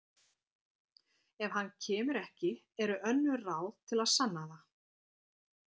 Ef hann kemur ekki eru önnur ráð til að sanna það